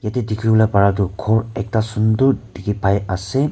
teh dikhi bole para tu ghor ekta sundor dikhi pai ase.